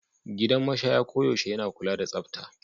Gidan mashaya koyaushe yana kula da tsafta.